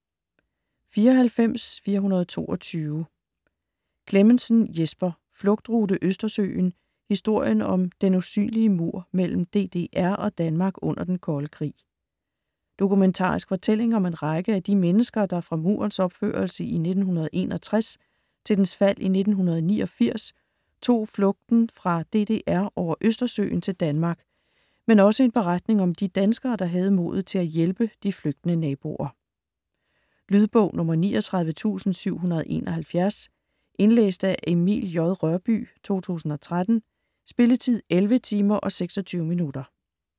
94.422 Clemmensen, Jesper: Flugtrute Østersøen: historien om "den usynlige mur" mellem DDR og Danmark under den kolde krig Dokumentarisk fortælling om en række af de mennesker, der fra Murens opførelse i 1961 til dens fald i 1989 tog fluten fra DDR over Østersøen til Danmark, men også en beretning om de danskere, der havde modet til at hjælpe de flygtende naboer. Lydbog 39771 Indlæst af Emil J. Rørbye, 2013. Spilletid: 11 timer, 26 minutter.